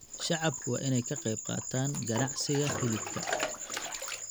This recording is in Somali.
Shacabku waa in ay ka qayb qaataan ganacsiga hilibka.